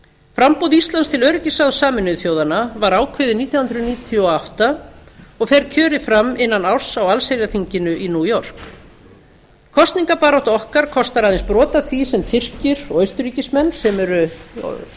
framboð íslands til öryggisráðs sameinuðu þjóðanna var ákveðið nítján hundruð níutíu og átta og fer kjörið fram innan árs á allsherjarþinginu í new york kosningabarátta okkar kostar aðeins brot af því sem tyrkir og austurríkismenn sem eru